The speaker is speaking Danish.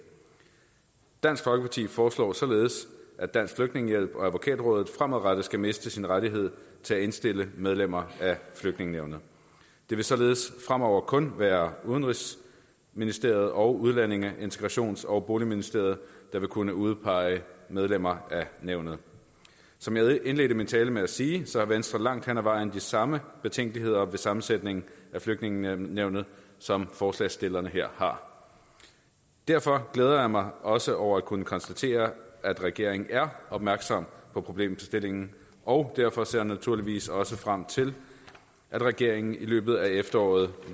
dansk folkeparti foreslår således at dansk flygtningehjælp og advokatrådet fremadrettet skal miste sin rettighed til at indstille medlemmer af flygtningenævnet det vil således fremover kun være udenrigsministeriet og udlændinge integrations og boligministeriet der vil kunne udpege medlemmer af nævnet som jeg indledte min tale med at sige har venstre langt hen ad vejen de samme betænkeligheder ved sammensætningen af flygtningenævnet som forslagsstillerne her har derfor glæder jeg mig også over at kunne konstatere at regeringen er opmærksom på problemstillingen og derfor ser jeg naturligvis også frem til at regeringen i løbet af efteråret